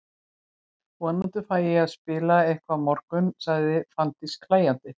Vonandi fæ ég að spila eitthvað á morgun, svaraði Fanndís hlæjandi.